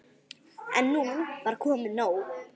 En nú var komið nóg.